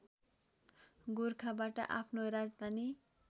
गोरखाबाट आफ्नो राजधानी